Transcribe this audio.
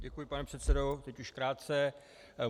Děkuji, pane předsedo, teď už krátce.